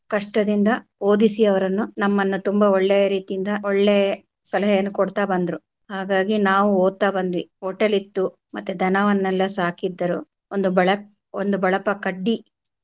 ಕಷ್ಟದಿಂದ ಓದಿಸಿ ಅವರನ್ನು ನಮ್ಮನ್ನ ತುಂಬಾ ಒಳ್ಳೆ ರೀತಿಯಿಂದ ಒಳ್ಳೆ ಸಲಹೆಯನ್ನು ಕೊಡ್ತಾ ಬಂದ್ರೂ ಹಾಗಾಗಿ ನಾವು ಓದುತ್ತ ಬಂದ್ವಿ hotel ಇತ್ತು ಮತ್ತೆ ದನವನೆಲ್ಲಾ ಸಾಕಿದ್ದರು ಒಂದು ಬಳ~ ಒಂದು ಬಳಪ ಕಡ್ಡಿ.